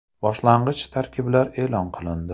Boshlang‘ich tarkiblar e’lon qilindi.